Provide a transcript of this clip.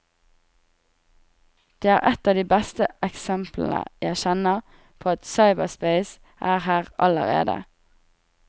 Det er et av de beste eksemplene jeg kjenner på at cyberspace er her allerede.